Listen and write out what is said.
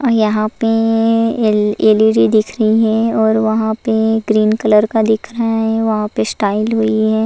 यहां पे एलईडी दिख रही है और वहां पे ग्रीन कलर का दिख रहा है वहां पे स्टाइल हुई है।